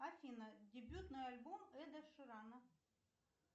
афина дебютный альбом эда ширана